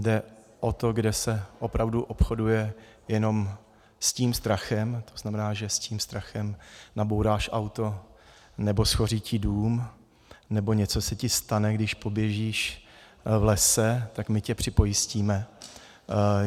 Jde o to, kde se opravdu obchoduje jenom s tím strachem, to znamená, že s tím strachem nabouráš auto nebo shoří ti dům nebo něco se ti stane, když poběžíš v lese, tak my tě připojistíme.